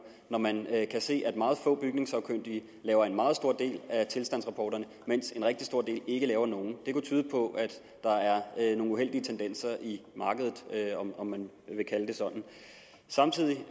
når man kan se at meget få bygningssagkyndige laver en meget stor del af tilstandsrapporterne mens en rigtig stor del ikke laver nogen det kunne tyde på at der er nogle uheldige tendenser i markedet om man vil kalde det sådan samtidig